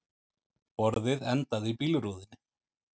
Borðið endaði í bílrúðunni